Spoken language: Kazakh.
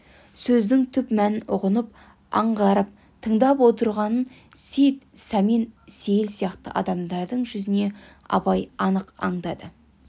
сөздің түп мәнін ұғынып аңғарып тыңдап отырғанын сейіт сәмен сейіл сияқты адамдардың жүзінен абай анық аңдады